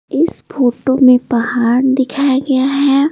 इस फोटो में पहाड़ दिखाया गया है।